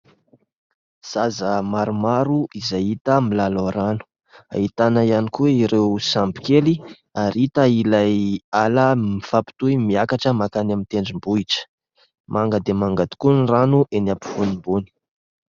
Zaza maromaro izay hita milalao rano. Ahitana ihany koa ireo sambo kely ary hita ilay ala mifampitohy miakatra mankany amin'ny tendrombohitra. Manga dia manga tokoa ny rano eny am-pivonimbony.